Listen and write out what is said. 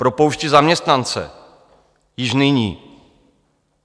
Propouštějí zaměstnance již nyní.